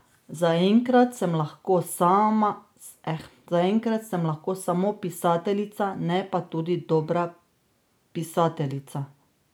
Zaenkrat sem lahko samo pisateljica, ne pa tudi dobra pisateljica.